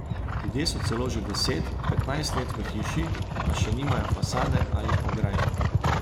Ljudje so celo že deset, petnajst let v hiši, pa še nimajo fasade ali ograj.